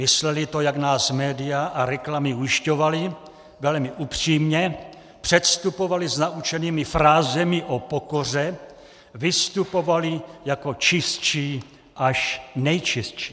Mysleli to, jak nás média a reklamy ujišťovaly, velmi upřímně, předstupovali s naučenými frázemi o pokoře, vystupovali jako čistší až nejčistší.